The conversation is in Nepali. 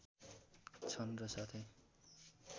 छन् र साथै